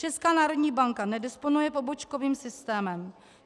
Česká národní banka nedisponuje pobočkovým systémem.